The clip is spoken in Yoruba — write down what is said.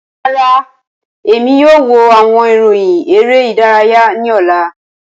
Rara, Emi kii yoo wo awọn iroyin ere idaraya ni ọla.